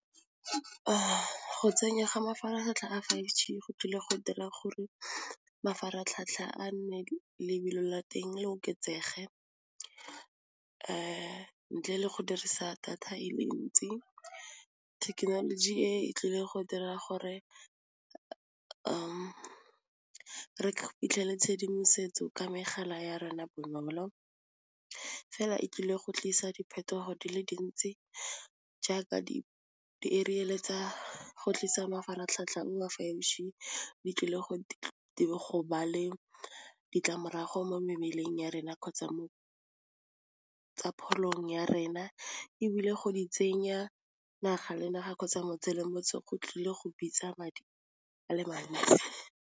Go tsenywa ga mafaratlhatlha a five G go tlile go dira gore mafaratlhatlha a nne lebelo la teng le oketsege ntle le go dirisa data e le ntsi thekenoloji e e tlile go dira gore re fitlhele tshedimosetso ka megala ya rona bonolo, fela e tlile go tlisa diphetogo di le dintsi jaaka di ariel-e tsa go tlisa mafaratlhatlha di tlile go ba le ditlamorago mo mebeleng ya rena kgotsa mo tsa pholong ya rena ebile go di tsenya naga le naga kgotsa motse le motse go tlile go bitsa madi ale mantsi.